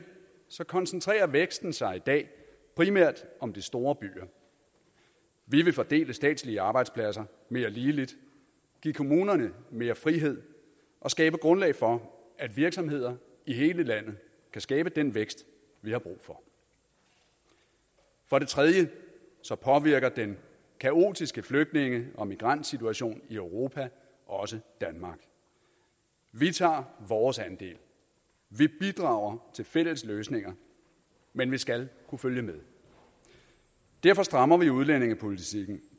koncentrerer væksten sig i dag primært om de store byer vi vil fordele statslige arbejdspladser mere ligeligt give kommunerne mere frihed og skabe grundlag for at virksomheder i hele landet kan skabe den vækst vi har brug for for det tredje påvirker den kaotiske flygtninge og migrantsituation i europa også danmark vi tager vores andel vi bidrager til fælles løsninger men vi skal kunne følge med derfor strammer vi udlændingepolitikken